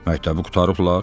Məktəbi qurtarıblar.